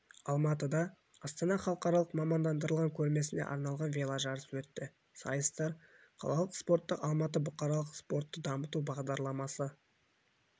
алматыда астана халықаралық мамандандырылған көрмесіне арналған веложарыс өтті сайыстар қалалық спорттық алматы бұқаралық спортты дамыту бағдарламасы